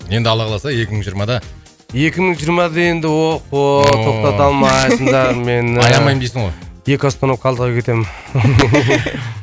енді алла қаласа екі мың жиырмада екі мың жиырмада енді охо тоқтата алмайсыңдар мені аямаймын дейсің ғой екі остановка алдыға кетемін